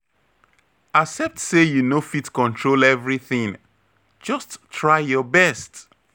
Accept say you no fit control everything, just try your best.